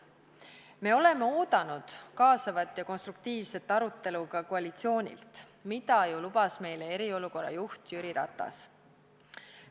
Me oleme oodanud kaasavat ja konstruktiivset arutelu ka koalitsioonilt, mida ju lubas meile eriolukorra juht Jüri Ratas.